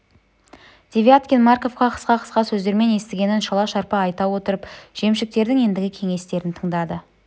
девяткин марковқа қысқа-қысқа сөздермен естігенін шала-шарпы айта отырып жемшіктердің ендігі кеңестерін тыңдады